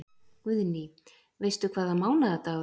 Guðný: Veistu hvaða mánaðardagur?